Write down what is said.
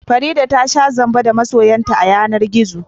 Farida ta sha zamba da masoyinta a yanar gizo